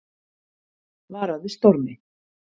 Varað við stormi